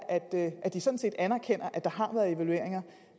at de sådan set anerkender at der har været evalueringer